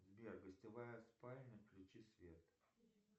сбер гостевая спальня включи свет